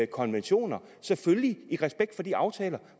konventioner selvfølgelig i respekt for de aftaler